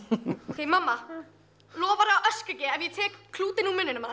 ókei mamma lofarðu að öskra ekki ef ég tek klútinn úr munninum á